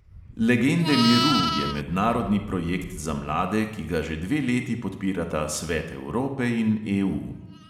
Legende miru je mednarodni projekt za mlade, ki ga že dve leti podpirata svet evrope in EU.